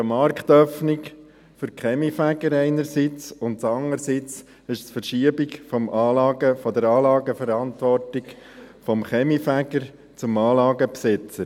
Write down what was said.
Es ist einerseits eine Marktöffnung für die Kaminfeger, und andererseits ist es eine Verschiebung der Anlageverantwortung vom Kaminfeger zum Anlagenbesitzer.